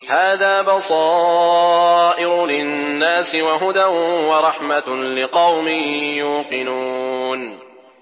هَٰذَا بَصَائِرُ لِلنَّاسِ وَهُدًى وَرَحْمَةٌ لِّقَوْمٍ يُوقِنُونَ